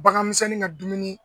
Bagan misɛnnin ka dumuni